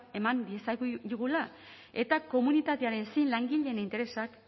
eman diezagula eta komunitatean langileen interesak